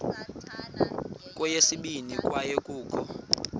kweyesibini kwaye kukho